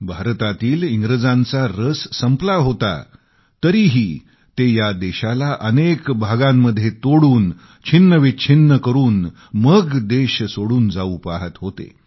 भारतातील इंग्रजांचा रस संपला होता तरीही ते या देशाला अनेक भागांत तोडून छिन्नविच्छिन्न करून मग देश सोडून जाऊ पाहत होते